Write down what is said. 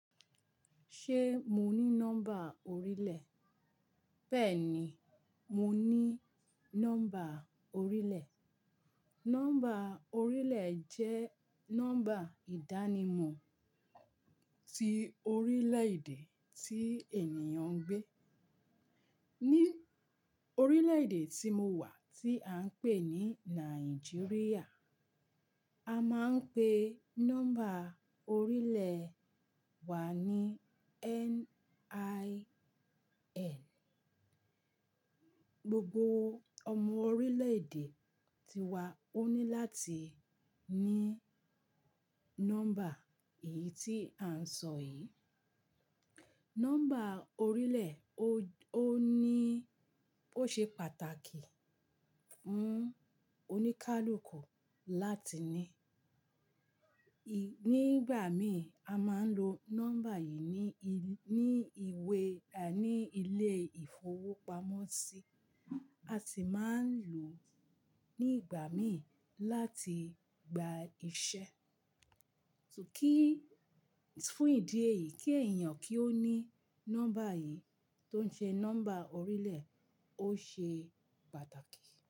Ṣé mo ní nọ́mbà orílẹ̀? Bẹ́ẹ̀ni, mo ní nọ́mbà orílẹ̀. Nọ́mbà orílẹ̀ jẹ́ nọ́mbà ìdánimọ̀ tí orílẹ̀ẹ̀dè tí ènìyàn ń gbé. Ní orílẹ̀ẹ̀dè tí mo wà, tí à ń pè ní Nàìjíríà, a máa ń pe nọ́mbà orílẹ̀ wa ní NIN. Gbogbo ọmọ orílẹ̀ẹ̀dè ti wa ó ní láti ní nọ́mbà èyí tí a ń sọ yìí. Nọ́mbà orílẹ̀ ó ní ó ṣe pàtàkì, ń, oníkálukú láti ní. Nígbà míì, a máa ń lo nọ́mbà yìí ní ìwé, à ní ilé ìfowópamọ́sí. A sì máa ń lò ó nígbà míì láti gba iṣẹ́. Kí fún ìdí èyí kí èèyàn kí ó ní nọ́mbà yìí tó ń ṣe nọ́mbà orílẹ̀ ó ṣe pàtàkì.